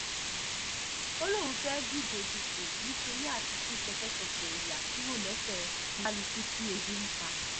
ó lóun fẹ́ẹ́ díje dupò nítorí àti tú ṣẹkẹ́ṣẹkẹ̀ ìyà kúrò lẹ́sẹ̀ kálukú tí ebi ń pa ni